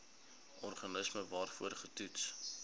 organisme waarvoor getoets